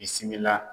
Bisimila